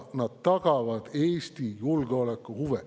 Nad tagavad Eesti julgeoleku huve.